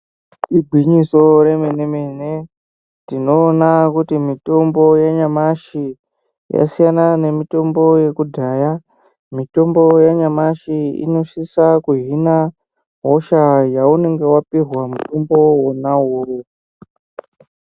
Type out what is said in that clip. Igwinyiso remene-mene tinoona kuti mitombo yenyamashi yasiyana nemitombo yekudhaya , mitombo yanyamashi inosisa kuhina hosha yaunenge wapihwa mutombo wona uwowo.